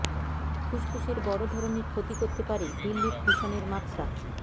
ফুসফুসের বড় ধরনের ক্ষতি করতে পারে দিল্লির দূষণের মাত্রা